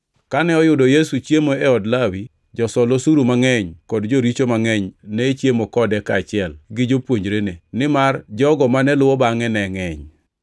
Kane oyudo Yesu chiemo e od Lawi, josol osuru mangʼeny kod joricho mangʼeny ne chiemo kode kaachiel gi jopuonjrene, nimar jogo mane luwo bangʼe ne ngʼeny.